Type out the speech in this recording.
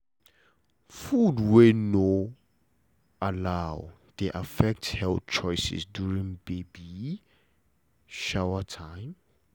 food wey no allow dey affect health choices during baby shower time